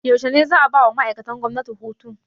Yaushe ne za 'a bawa ma'aikatan gwamnati hutu?